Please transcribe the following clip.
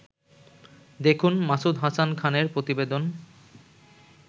দেখুন মাসুদ হাসান খানের প্রতিবেদন